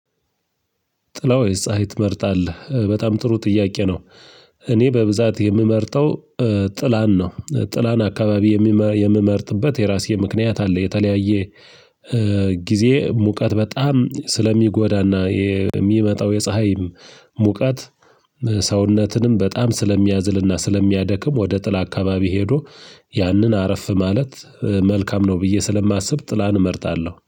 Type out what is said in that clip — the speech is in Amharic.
ጥላ ወይ ፀሀይ ትመርጣለህ በጣም ጥሩ ጥያቄ ነው? እኔ በብዛት የምመርጠው ጥላን ነው። ጥላን አካባቢ የምመርጥበት የራሴ ምክንያት አለኝ። የተለያየ ጊዜ ሙቀት በጣም ስለሚጎዳና የሚመጣው የፀሀይ ሙቀት። ሰውነትንም በጣም ስለሚያዝልና ስለሚያደክም ወደ ጥላ አካባቢ ሄዶ ያንን አረፍ ማለት መልካም ነው ብዬ ስለማስብ ጥላን እመርጣለሁ